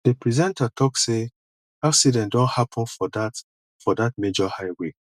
di presenter talk sey accident don happen for dat for dat major highway